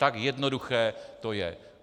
Tak jednoduché to je.